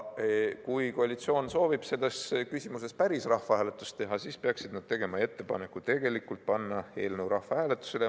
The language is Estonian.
Kui koalitsioon soovib selles küsimuses päriselt rahvahääletust teha, siis peaksid nad tegema ettepaneku panna eelnõu rahvahääletusele.